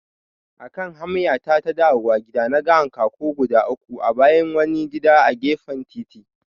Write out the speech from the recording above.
Akan hamyata ta dawowa gida, naga hankaku guda uku a bayan wani gida a gefen titi.